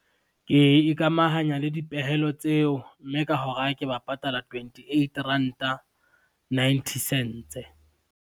Ke ikamahanya le dipehelo tseo, mme ka hora ke ba patala twentyeight Ranta, ninety cents.